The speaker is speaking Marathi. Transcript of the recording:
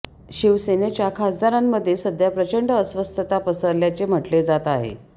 शिवसेनेच्या खासदारांमधे सध्या प्रचंड अस्वस्थता पसरल्याचे म्हटले जात आहे